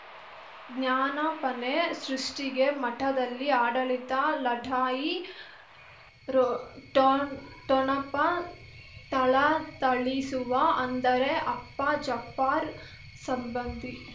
ಜ್ಞಾನಾಪನೆ ಸೃಷ್ಟಿಗೆ ಮಠದಲ್ಲಿ ಆಡಳಿತ ಲಢಾಯಿ ರೊ ಠೊ ಠೊಣಪ ಥಳಥಳಿಸುವ ಅಂದರೆ ಅಪ್ಪ ಜಪ್ಪರ್ ಸಂಬಂಧಿ